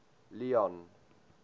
leone